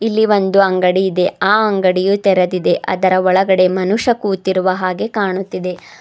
ಇಲ್ಲಿ ಒಂದು ಅಂಗಡಿ ಇದೆ ಆ ಅಂಗಡಿಯು ತೆರೆದಿದೆ ಅದರ ಒಳಗೆ ಮನುಷ್ಯ ಕೂತಿರುವ ಹಾಗೆ ಕಾಣುತ್ತಿದೆ.